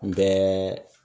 Kun bɛ